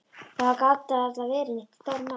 Það gat varla verið neitt stórmál.